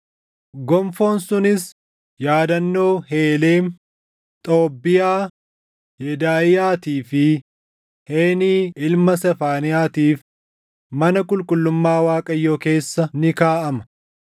Gonfoon sunis yaadannoo Heelem, Xoobbiyaa, Yedaaʼiyaatii fi Heeni ilma Sefaaniyaa tiif mana qulqullummaa Waaqayyoo keessa ni kaaʼama.